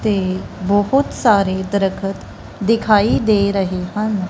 ਤੇ ਬਹੁਤ ਸਾਰੇ ਦਰਖਤ ਦਿਖਾਈ ਦੇ ਰਹੇ ਹਨ।